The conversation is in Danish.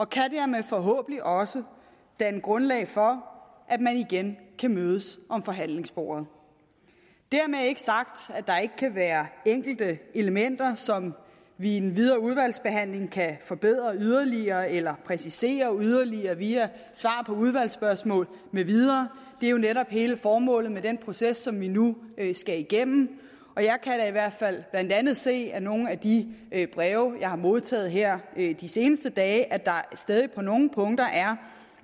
kan dermed forhåbentlig også danne grundlag for at man igen kan mødes om forhandlingsbordet dermed ikke sagt at kan være enkelte elementer som vi i den videre udvalgsbehandling kan forbedre yderligere eller præcisere yderligere via svar på udvalgsspørgsmål med videre det er jo netop hele formålet med den proces som vi nu skal igennem og jeg kan da i hvert fald blandt andet se af nogle af de breve jeg har modtaget her de seneste dage at der stadig på nogle punkter er